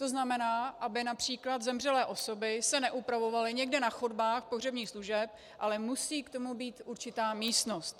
To znamená, aby například zemřelé osoby se neupravovaly někde na chodbách pohřebních služeb, ale musí k tomu být určitá místnost.